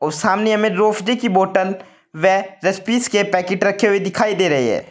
सामने हमें रूहफजे की बोतल व रस पीस के पैकेट रखे हुए दिखाई दे रहे हैं।